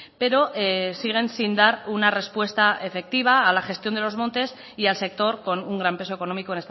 pero siguen sin dar una respuesta efectiva a la gestión de los montes y al sector con un gran peso económico